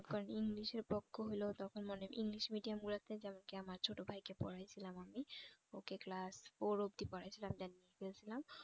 মনে করেন english এ পক্ক হলেও তখন মনে english medium গুলাতে যেমন কি আমার ছোট ভাইকে পড়িয়েছিলাম আমি ওকে class four অব্দি পড়িয়েছিলাম then নিয়ে গেছিলাম